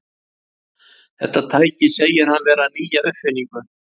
Þetta tæki segir hann vera nýja uppfinningu.